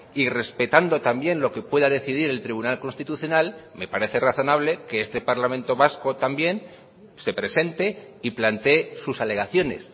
y respetando también lo que pueda decidir el tribunal constitucional me parece razonable que este parlamento vasco también se presente y plantee sus alegaciones